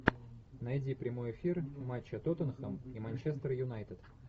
найди прямой эфир матча тоттенхэм и манчестер юнайтед